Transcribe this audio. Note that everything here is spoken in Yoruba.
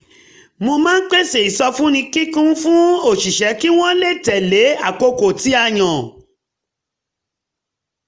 mo máa ń pèsè ìsọfúnni kíkún fún òṣìṣẹ́ kí wọ́n um lè tẹle àkókò tí a yàn